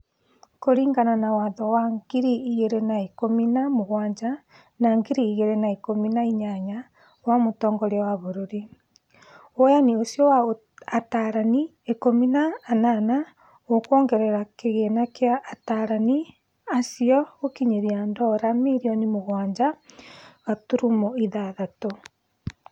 Kũringana na watho wa ngiri igĩri na ikũmi na mũgwanja na ngiri igĩri na ikũmi na inyanya wa mũtongoria wa bũrũri, woyani ũcio wa atarani ikũmi na anana ũkuongerera kĩgĩna kĩa atarani acio gũkinyĩria dora mirioni mũgwanja gaturuma ithathatũ.